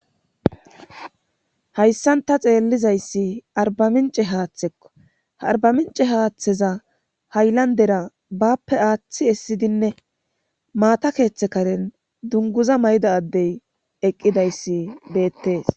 Hayssan ta xeellizayssi arbamince haaththekko arbamince haaththeza hayllandera bappe aaththi essidinne maata keeththe karen dunguza mayda addey eqqidayssi beettees